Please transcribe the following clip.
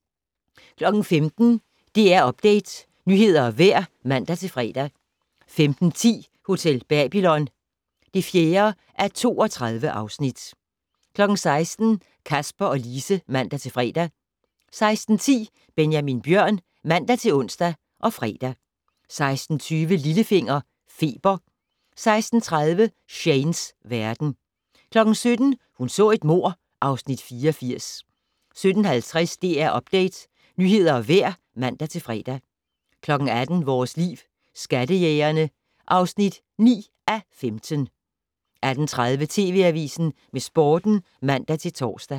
15:00: DR Update - nyheder og vejr (man-fre) 15:10: Hotel Babylon (4:32) 16:00: Kasper og Lise (man-fre) 16:10: Benjamin Bjørn (man-ons og fre) 16:20: Lillefinger - Feber 16:30: Shanes verden 17:00: Hun så et mord (Afs. 84) 17:50: DR Update - nyheder og vejr (man-fre) 18:00: Vores Liv: Skattejægerne (9:15) 18:30: TV Avisen med Sporten (man-tor)